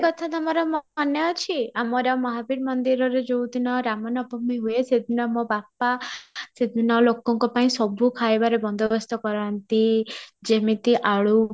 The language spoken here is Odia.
ଆଉ ଗୋଟେ କଥା ତମର ମନେ ଅଛି ଆମର ମହାବୀର ମନ୍ଦିରରେ ଯାଉ ଦିନ ରାମ ନବମୀ ହୁଏ ସେ ଦିନ ମୋ ବାପା ସେ ଦିନ ଲୋକଙ୍କ ପାଇଁ ସବୁ ଖାଇବାରେ ବନ୍ଦବସ୍ତ କରନ୍ତି ଯେମିତି ଆଳୁ